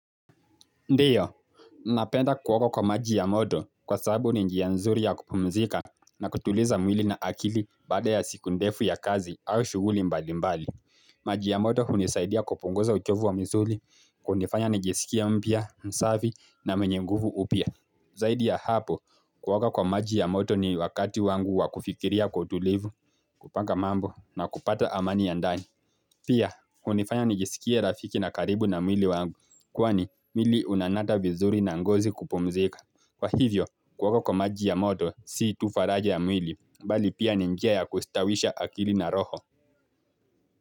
Ndio, napenda kuoga kwa maji ya moto kwasababu ni njia nzuri ya kupumzika na kutuliza mwili na akili baada ya siku ndefu ya kazi aushughuli mbali mbali. Maji ya moto hunisaidia kupunguza uchovu wa misuli, kunifanya njisikie mpya, msafi na mwenye nguvu upya. Zaidi ya hapo, kuoga kwa maji ya moto ni wakati wangu wa kufikiria kwa utulivu, kupanga mambo na kupata amani ya ndani. Pia, hunifanya nijisikie rafiki na karibu na mwili wangu, kwani mwili unanata vizuri na ngozi kupumzika. Kwa hivyo, kuoga kwa maji ya moto, si tu faraja ya mwili, bali pia ni njia ya kustawisha akili na roho.